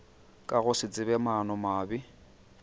ka go se tsebe maanomabe